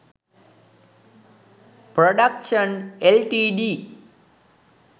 productions ltd